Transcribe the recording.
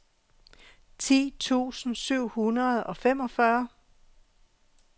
ti tusind syv hundrede og femogfyrre